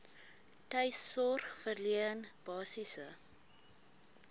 tuissorg verleen basiese